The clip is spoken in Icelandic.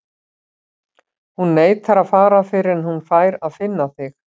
Hún neitar að fara fyrr en hún fær að finna þig.